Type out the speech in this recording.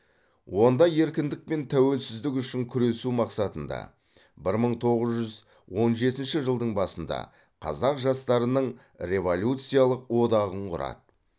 онда еркіндік пен тәуелсіздік үшін күресу мақсатында бір мың тоғыз жүз он жетінші жылдың басында қазақ жастарының революциялық одағын құрады